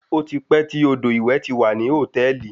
Ó ti pẹ́ tí odò ìwẹ̀ ti wà ní hòtẹ́ẹ̀lì.